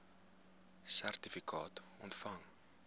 sertifikaat ontvang